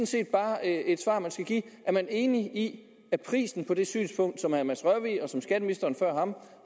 set bare et svar man skal give er man enig i at prisen på det synspunkt som herre mads rørvig og som skatteministeren før ham